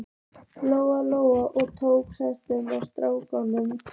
Lóa Lóa og tók skörunginn af stráknum.